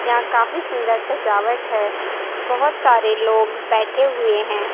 यहां काफी सुंदर सजावट है बहोत सारे लोग बैठे हुए हैं।